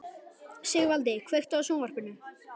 Sigvaldi, kveiktu á sjónvarpinu.